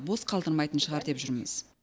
бос қалдырмайтын шығар деп жүрміз